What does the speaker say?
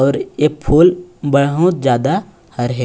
अउ ये फूल बहुत ज्यादा हर हे।